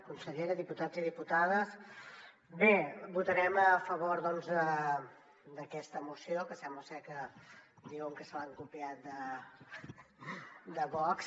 consellera diputats i diputades bé votarem a favor doncs d’aquesta moció que sembla ser que diuen que se l’han copiat de vox